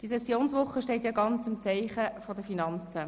Diese Sessionswoche steht im Zeichen der Finanzen.